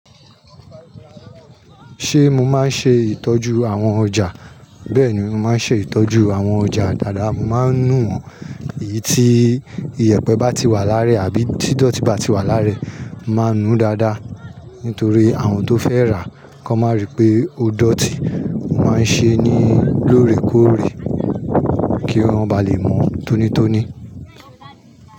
Ṣé mo máa ń ṣe ìtọ́jú àwọn ọjà? Bẹ́ẹ̀ni, mo máa ń ṣe ìtọ́jú àwọn ọjà dáramu. Mo máa ń nu wọ́n, èyí tí iyẹ̀pẹ̀ bá ti wà láàrẹ àbí títọ́ tì bá ti wà láàrẹ, mo máa ń nu dáadáa. Nítorí àwọn tó fẹ́ rà, kí wọ́n má rí i pé ó dọ̀tí. Mo máa ń ṣe é ní lóòrèkóòrè kí wọ́n bá lè mọ̀ tónítóní.